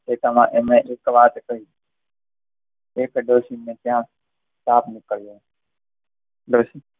એટલામાં એમને વાત કહી એક ડોશીને ત્યાં સાપ નીકળ્યો હતો ડોશી